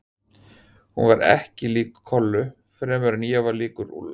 Hún var ekki lík Kollu fremur en ég var líkur Úlla.